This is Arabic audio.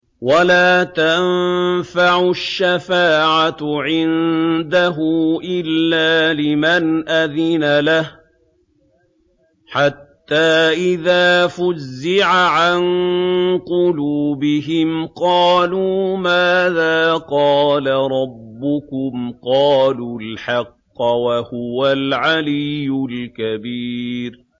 وَلَا تَنفَعُ الشَّفَاعَةُ عِندَهُ إِلَّا لِمَنْ أَذِنَ لَهُ ۚ حَتَّىٰ إِذَا فُزِّعَ عَن قُلُوبِهِمْ قَالُوا مَاذَا قَالَ رَبُّكُمْ ۖ قَالُوا الْحَقَّ ۖ وَهُوَ الْعَلِيُّ الْكَبِيرُ